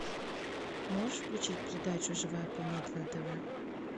можешь включить передачу живая планета на тв